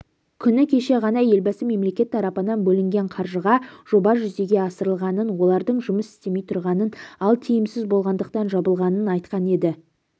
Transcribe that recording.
күні кеше ғана елбасы мемлекет тарапынан бөлінген қаржыға жоба жүзеге асырылғанын олардың жұмыс істемей тұрғанын ал тиімсіз болғандықтан жабылғанын айтқан еді